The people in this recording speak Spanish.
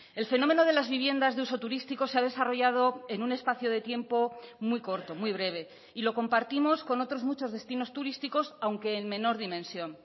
el fenómeno de las viviendas de uso turístico se ha desarrollado en un espacio de tiempo muy corto muy breve y lo compartimos con otros muchos destinos turísticos aunque en menor dimensión